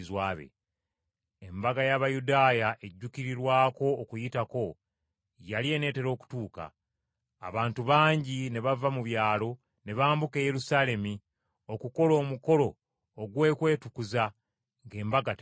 Embaga y’Abayudaaya ejjuukirirwako Okuyitako yali eneetera okutuuka, abantu bangi ne bava mu byalo ne bambuka e Yerusaalemi okukola omukolo ogw’okwetukuza ng’embaga tennatuuka.